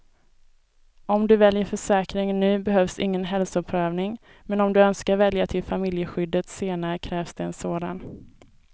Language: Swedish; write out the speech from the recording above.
Om du väljer försäkringen nu behövs ingen hälsoprövning, men om du önskar välja till familjeskyddet senare krävs det en sådan.